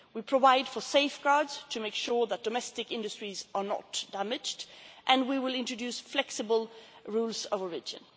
in return. We provide for safeguards to make sure that domestic industries are not damaged and we will introduce flexible rules